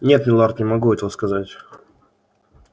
нет милорд не могу этого сказать